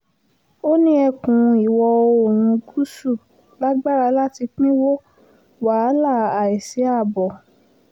ó ní ẹkùn ìwọ̀-oòrùn gúúsù lágbára láti pínwó wàhálà àìsí ààbò